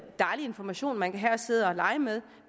dejlig information man kan have og sidde og lege med